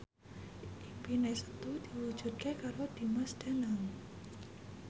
impine Setu diwujudke karo Dimas Danang